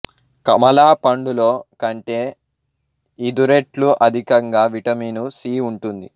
కమలా పండులో కంటే ఇదు రెట్లు అధికంగా విటమిను సి ఉంటుంది